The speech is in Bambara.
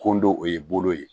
Kɔndɔ o ye bolo ye